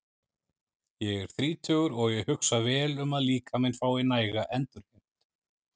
Ég er þrítugur og ég hugsa vel um að líkaminn fái næga endurheimt.